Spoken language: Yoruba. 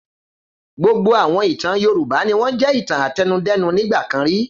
Gbogbo àwọn ìtàn Yorùbá ni wọ́n jẹ́ ìtàn àtẹnudẹ́nu nígbà kan rí.